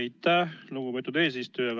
Aitäh, lugupeetud eesistuja!